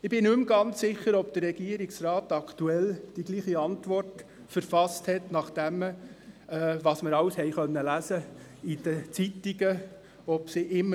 » Ich bin nicht mehr ganz sicher, ob der Regierungsrat aktuell dieselbe Antwort verfasst hätte, nach allem, was man in den Zeitungen lesen konnte.